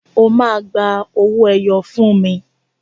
O ma gba owó ẹyọ fún mi!